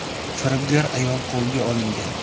Firibgar ayol qo‘lga olingan.